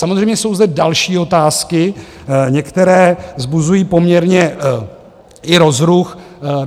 Samozřejmě jsou zde další otázky, některé vzbuzují poměrně i rozruch.